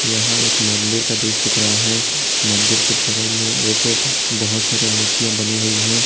यहां एक मंदिर का दृश्य दिख रहा है मंदिर के बगल में एक बहुत सारे मूर्तियां बनी हुई है।